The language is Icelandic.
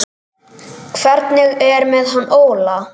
Hvernig er með hann Óla?